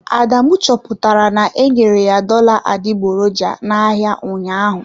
Adamu chọpụtara na-enyere ya dollar adịgboroja n'ahịa ụnyaahụ.